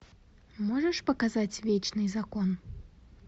можешь показать вечный закон